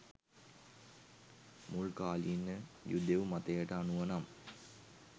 මුල්කාලීන යුදෙව් මතයට අනුව නම්